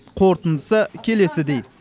қорытындысы келесідей